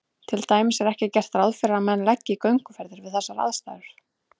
Til dæmis er ekki gert ráð fyrir að menn leggi í gönguferðir við þessar aðstæður.